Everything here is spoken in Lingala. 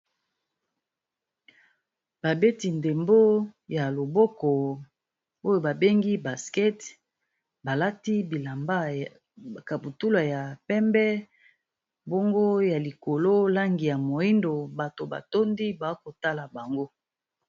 Ba beti ndebo ya maboko ba lati ba kaputuka ya penbe batu baza ko tala bango